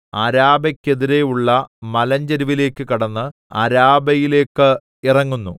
അരാബെക്കെതിരെയുള്ള മലഞ്ചരിവിലേക്ക് കടന്ന് അരാബയിലേക്ക് ഇറങ്ങുന്നു